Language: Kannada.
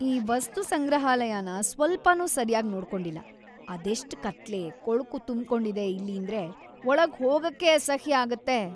ಈ ವಸ್ತುಸಂಗ್ರಹಾಲಯನ ಸ್ವಲ್ಪನೂ ಸರ್ಯಾಗ್ ನೋಡ್ಕೊಂಡಿಲ್ಲ, ಅದೆಷ್ಟ್ ಕತ್ಲೆ, ಕೊಳ್ಕು ತುಂಬ್ಕೊಂಡಿದೆ ಇಲ್ಲೀಂದ್ರೆ ಒಳಗ್‌ ಹೋಗಕ್ಕೇ ಅಸಹ್ಯ ಆಗತ್ತೆ.